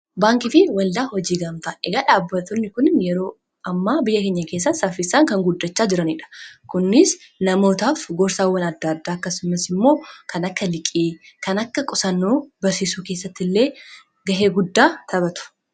baankii fi waldaa hojii gamtaa. egaa dhaabbaatonni kun yeroo amma biyya keenya keessatti saaffisaan kan guddachaa jiraniidha kunnis namootaaf gorsaawwan addaaddaa akkasumas immoo kan akka liqii kan akka qusannaa barsiisuu keessatti illee gahee guddaa taphatu